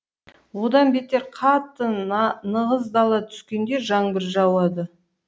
одан бетер қатты нығыздала түскенде жаңбыр жауады